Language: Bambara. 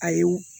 Ayi u